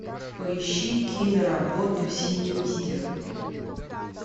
поищи киноработу синистер